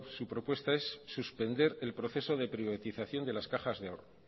su propuesta es suspender el proceso de privatización de las cajas de ahorro